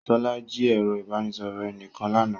Sola jí ẹ̀rọ ìbánisọ̀rọ̀ ẹnìkan lánàá